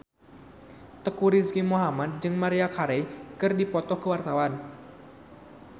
Teuku Rizky Muhammad jeung Maria Carey keur dipoto ku wartawan